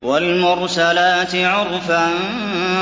وَالْمُرْسَلَاتِ عُرْفًا